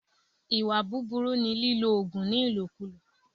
Ìwà búbúrú ni lílo òògùn ní ìlòkulò